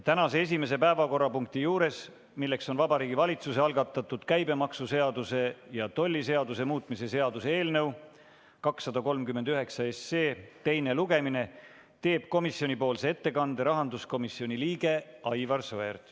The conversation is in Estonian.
Tänase esimese päevakorrapunkti arutelul, Vabariigi Valitsuse algatatud käibemaksuseaduse ja tolliseaduse muutmise seaduse eelnõu 239 teisel lugemisel, teeb komisjoni ettekande rahanduskomisjoni liige Aivar Sõerd.